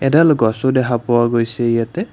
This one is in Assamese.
এডাল গছো দেখা পোৱা গৈছে ইয়াতে।